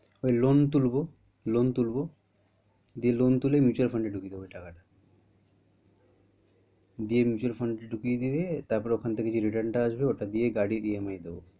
ওই loan তুলবো loan তুলবো দিয়ে loan তুলে mutual fund এ ঢুকিয়ে দেব ওই টাকাটা দিয়ে mutual fund এ ঢুকিয়ে দিয়ে তারপর ওই খান থেকে যে return ওটা টা আসবে ওটা দিয়ে গাড়ী EMI দেবো।